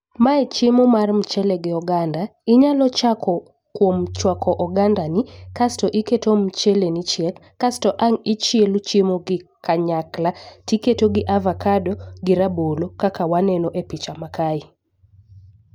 Mae chiemo mar mchele gi oganda. Inyalo chako kuom chwako oganda ni kasto iketo mchele ni chiek asto ang' ichielo chiemo gi kanyakla tiketo gi avakado gi rabolo kaka waneno e picha ma kae.